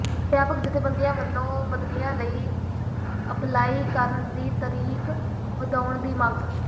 ਅਧਿਆਪਕ ਜਥੇਬੰਦੀਆਂ ਵੱਲੋਂ ਬਦਲੀਆਂ ਲਈ ਅਪਲਾਈ ਕਰਨ ਦੀ ਤਾਰੀਖ਼ ਵਧਾਉਣ ਦੀ ਮੰਗ